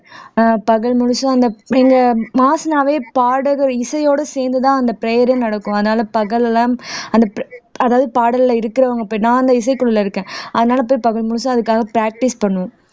ஆஹ் பகல் முழுசும் அந்த இந்த மாசனாவே பாடகர் இசையோட சேர்ந்துதான் அந்த prayer ஏ நடக்கும் அதனால பகலெல்லாம் அந்த அதாவது பாடல்ல இருக்கிறவங்க போய் நான் அந்த இசைக்குள்ள இருக்கேன் அதனால போய் பகல் முழுசா அதுக்காக practice பண்ணுவோம்